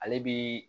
Ale bi